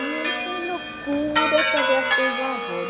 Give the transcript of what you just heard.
E ele tem loucura para ver as coisas do avô.